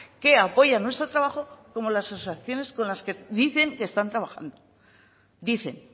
que apoyan nuestro trabajo como las asociaciones con las que dicen que están trabajando dicen